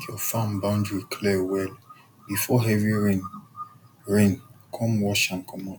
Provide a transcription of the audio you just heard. make your farm boundary clear well before heavy rain rain come wash am commot